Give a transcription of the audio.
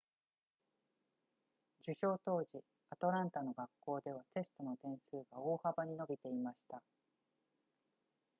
受賞当時アトランタの学校ではテストの点数が大幅に伸びていました